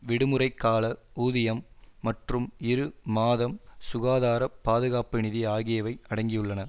விடுமுறைக்கால ஊதியம் மற்றும் இரு மாதம் சுகாதார பாதுகாப்பு நிதி ஆகியவை அடங்கியுள்ளன